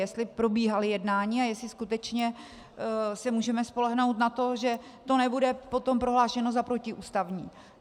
Jestli probíhala jednání a jestli skutečně se můžeme spolehnout na to, že to nebude potom prohlášeno za protiústavní.